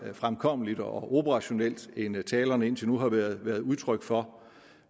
fremkommeligt og operationelt end talerne indtil nu har været udtryk for